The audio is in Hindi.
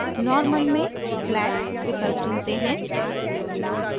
normal में flat विकल्प चुनते हैं